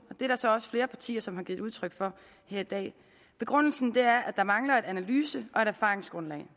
det er der så også flere partier som har givet udtryk for her i dag begrundelsen er at der mangler et analyse og erfaringsgrundlag